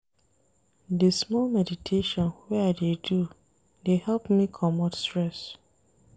Di small meditation wey I dey do dey help me comot stress.